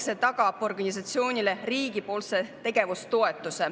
See tagab organisatsioonile riigipoolse tegevustoetuse.